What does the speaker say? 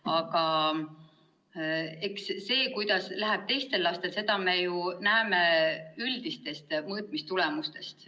Aga eks seda, kuidas läheb teistel lastel, me näeme ju üldistest mõõtmistulemustest.